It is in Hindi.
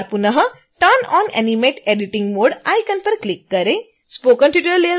एक बार पुनः turn on animate editing mode icon पर क्लिक करें